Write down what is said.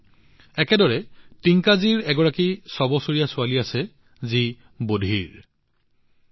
একেদৰে টিংকাজীৰ এগৰাকী ছয় বছৰীয়া ছোৱালী আছে যি শুনা নাপায়